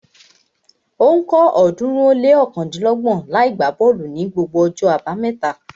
Ó ń kọ́ ọ̀ọ́dúnrún ó lé ọ̀kándínlọ́gbọ̀n niàgbá bọ́ọ̀lù ní gbogbo ọjọ́ abámẹ́ta